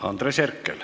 Andres Herkel.